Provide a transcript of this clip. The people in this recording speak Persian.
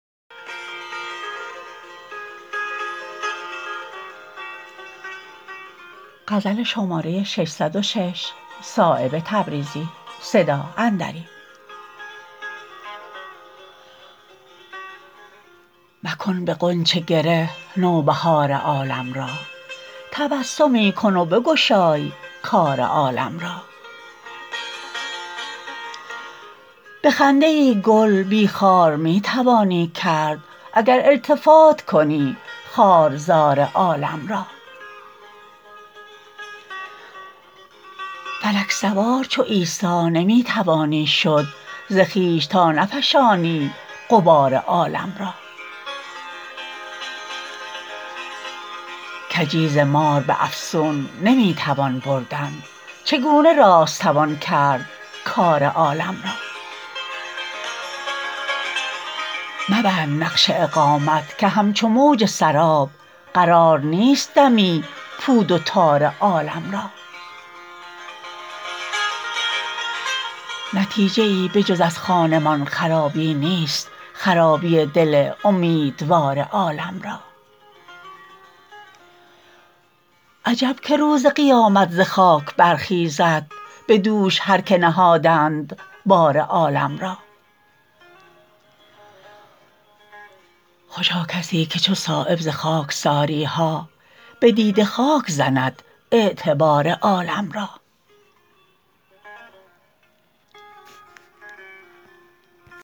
مکن به غنچه گره نوبهار عالم را تبسمی کن و بگشای کار عالم را به خنده ای گل بی خار می توانی کرد اگر التفات کنی خارزار عالم را فلک سوار چو عیسی نمی توانی شد ز خویش تا نفشانی غبار عالم را کجی ز مار به افسون نمی توان بردن چگونه راست توان کرد کار عالم را مبند نقش اقامت که همچو موج سراب قرار نیست دمی پود و تار عالم را نتیجه ای به جز از خانمان خرابی نیست خرابی دل امیدوار عالم را عجب که روز قیامت ز خاک برخیزد به دوش هر که نهادند بار عالم را خوشا کسی که چو صایب ز خاکساری ها به دیده خاک زند اعتبار عالم را